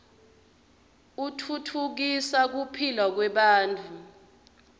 utfutfukisa kuphila kwebantfu